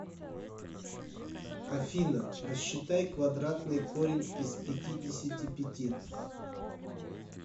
афина рассчитай квадратный корень из пятидесяти пяти